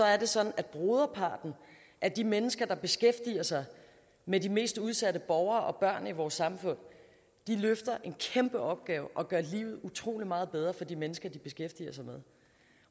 er det sådan at broderparten af de mennesker der beskæftiger sig med de mest udsatte borgere og børn i vores samfund løfter en kæmpe opgave og gør livet utrolig meget bedre for de mennesker de beskæftiger sig med